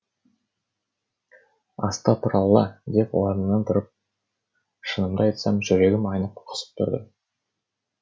астапыралла деп орнымнан ұшып тұрдым шынымды айтсам жүрегім айнып құсып тұрдым